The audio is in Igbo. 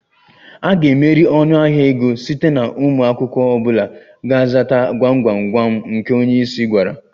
A ga-emeri ọnụahịa ego site na ụmụ akwụkwọ ọ bụla ga-azata gwam gwam gwam nke onye isi gwara